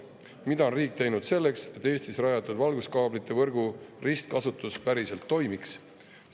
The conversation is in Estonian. Mida on riik teinud selleks, et Eestis rajatud valguskaablite võrgu ristkasutus päriselt toimiks?